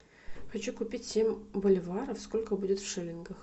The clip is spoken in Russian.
хочу купить семь боливаров сколько будет в шиллингах